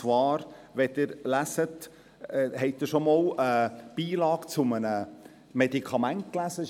Haben Sie zum Beispiel schon einmal einen Beipackzettel zu einem Medikament gelesen?